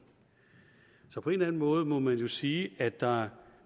så på en eller anden måde må man jo sige at der